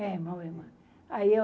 É, em Moema. Ai eu